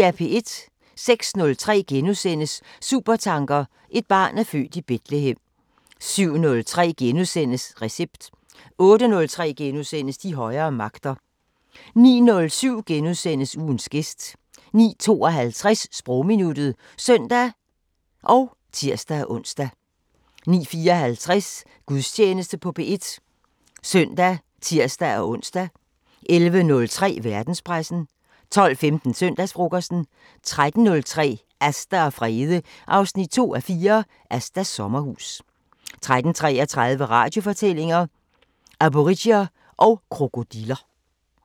06:03: Supertanker: Et barn er født i Betlehem * 07:03: Recept * 08:03: De højere magter * 09:07: Ugens gæst * 09:52: Sprogminuttet (søn og tir-ons) 09:54: Gudstjeneste på P1 (søn og tir-ons) 11:03: Verdenspressen 12:15: Søndagsfrokosten 13:03: Asta og Frede 2:4 – Astas sommerhus 13:33: Radiofortællinger: Aborigier og krokodiller